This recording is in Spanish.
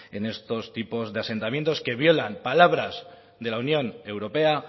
en estos tipos de asentamientos que violan palabras de la unión europea